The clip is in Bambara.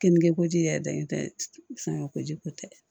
Keninke koji yɛrɛ dalen tɛ sɔn ko ji ko tɛ